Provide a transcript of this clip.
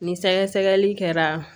Ni sɛgɛsɛgɛli kɛra